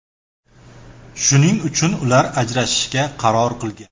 Shuning uchun ular ajrashishga qaror qilgan.